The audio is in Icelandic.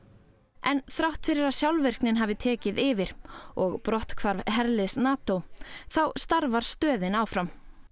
en þrátt fyrir að sjálfvirknin hafi tekið yfir og brotthvarf herliðs NATÓ þá starfar stöðin áfram